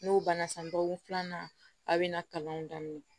N'o banna san dɔgɔkun filanan a bɛna kalan daminɛ